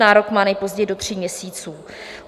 Nárok má nejpozději do tří měsíců.